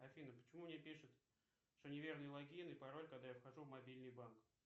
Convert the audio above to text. афина почему мне пишут что неверный логин и пароль когда я вхожу в мобильный банк